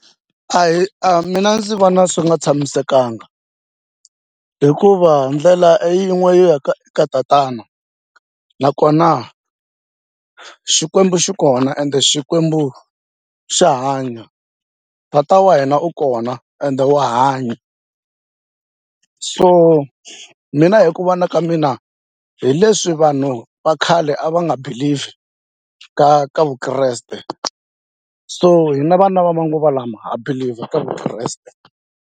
Ahee a mina ndzi vona swi nga tshamisekanga hikuva ndlela i yin'we yo ya ka eka tatana nakona Xikwembu xi kona ende Xikwembu xa hanya tata wa hina u kona ende wa hanya so mina hi ku vona ka mina hi leswi vanhu va khale a va nga believe ka ka vukreste so hina vana va manguva lama ha believe ka vukreste.